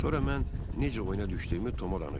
Sonra mən necə oyuna düşdüyümü Toma danışdım.